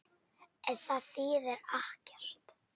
En það þýðir ekkert.